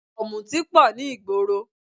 Ọ̀mùtí pọ̀ ní ìgboro